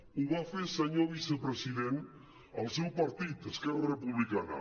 ho va fer senyor vicepresident el seu partit esquerra republicana